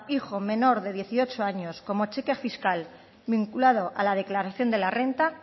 hijo menor de dieciocho años como cheque fiscal vinculado a la declaración de la renta